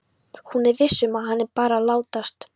Hún er viss um að hann er bara að látast.